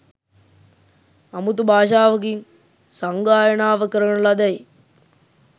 අමුතු භාෂාවකින් සංගායනාව කරන ලදැයි